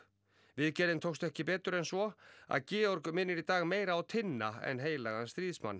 viðgerðin tókst ekki betur en svo að Georg minnir í dag meira á Tinna en heilagan